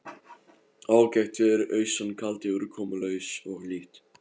Ágætt veður austan kaldi úrkomulaus og hlýtt.